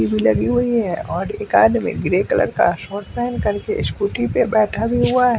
भी लगी हुई है और एक आदमी ग्रे कलर का शॉट पहन कर के स्कूटी पर बैठा भी हुआ है।